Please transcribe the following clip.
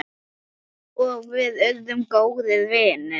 Og við urðum góðir vinir.